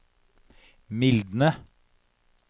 mildne